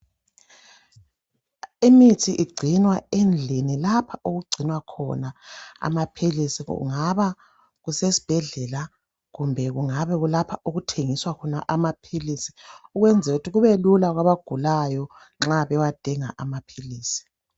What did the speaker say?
Imithi igcinwa endlini lapha okugcinwa khona amaphilisi, kungaba kusesibhedlela kumbe lapha okuthengiswa khona amaphilisi ukwenzela ukuthi kubelula kwabagulayo nxa bewadinga amaphilisi